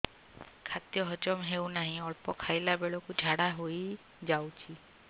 ଖାଦ୍ୟ ହଜମ ହେଉ ନାହିଁ ଅଳ୍ପ ଖାଇଲା ବେଳକୁ ଝାଡ଼ା ହୋଇଯାଉଛି